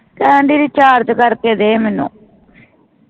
ਕਹਿੰਦੀ RECHARGE ਕਰਕੇ ਦੇ ਮੈਨੂੰ